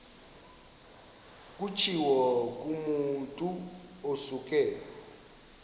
kutshiwo kumotu osuke